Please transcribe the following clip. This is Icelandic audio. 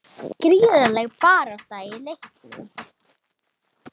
Gríðarleg barátta í leiknum